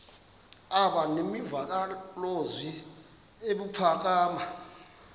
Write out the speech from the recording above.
aba nemvakalozwi ebuphakama